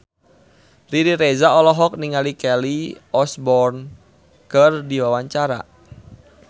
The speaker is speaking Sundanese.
Riri Reza olohok ningali Kelly Osbourne keur diwawancara